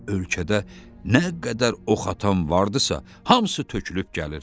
Ölkədə nə qədər ox atan vardısa, hamısı tökülüb gəlir.